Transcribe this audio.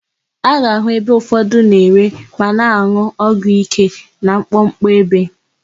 A ga-àhụ́ ebe ụfọdụ na-ere ma na-an̄ụ ọgwụ íké na mkpọkpọ ebe.